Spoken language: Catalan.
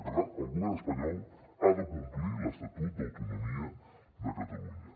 i per tant el govern espanyol ha de complir l’estatut d’autonomia de catalunya